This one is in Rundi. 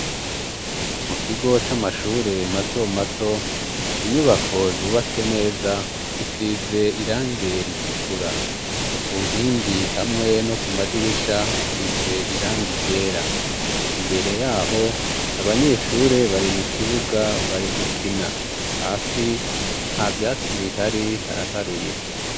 Mu kigo c'amashure mato mato inyubako zubatse neza zisize irange ritukura ku nkingi hamwe no ku madirisha hasize iranga iryera imbere yaho abanyeshure bari mu kibuga bari gukina hafi aa vyatsi bihari haraharuye.